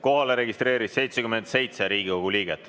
Kohalolijaks registreerus 77 Riigikogu liiget.